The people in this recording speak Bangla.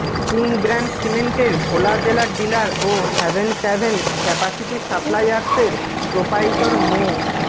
কিং ব্র্যান্ড সিমেন্টের ভোলা জেলার ডিলার ও হ্যাভেন ক্যাভেন ক্যাপাসিটি সাপ্লাইয়ার্সের প্রোপাইটর মো